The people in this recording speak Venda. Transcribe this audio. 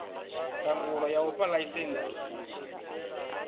ndangulo ya u fha ḽaisentsi